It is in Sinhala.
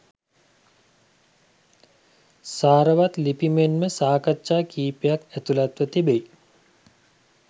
සාරවත් ලිපි මෙන්ම සාකච්ඡා කීපයක් ඇතුළත්ව තිබෙයි.